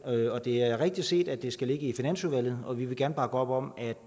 det er rigtigt set at det skal ligge i finansudvalget og vi vil gerne bakke op om at